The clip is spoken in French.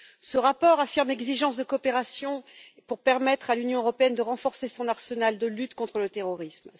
Ce rapport affirme l'exigence de coopération pour permettre à l'Union européenne de renforcer son arsenal de lutte contre le terrorisme.